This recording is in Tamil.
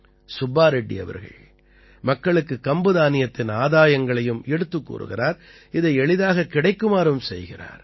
சுப்பா ரெட்டி அவர்கள் மக்களுக்குக் கம்பு தானியத்தின் ஆதாயங்களையும் எடுத்துக் கூறுகிறார் இதை எளிதாகக் கிடைக்குமாறும் செய்கிறார்